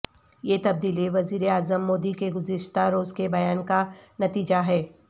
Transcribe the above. یہ تبدیلی وزیر اعظم مودی کےگذشتہ روز کے بیان کا نتیجہ ہے